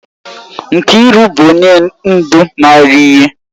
Nkiru bu onye ndu mara ihe.